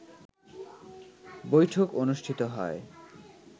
বৈঠক অনুষ্ঠিত হয়